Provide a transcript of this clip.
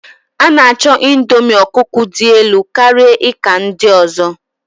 A'nacho indomie ọkụkọ dị elu karịa ika ndị ọzọ.